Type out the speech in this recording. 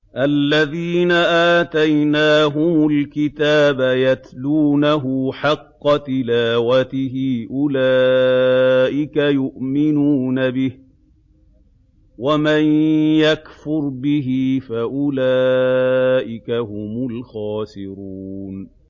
الَّذِينَ آتَيْنَاهُمُ الْكِتَابَ يَتْلُونَهُ حَقَّ تِلَاوَتِهِ أُولَٰئِكَ يُؤْمِنُونَ بِهِ ۗ وَمَن يَكْفُرْ بِهِ فَأُولَٰئِكَ هُمُ الْخَاسِرُونَ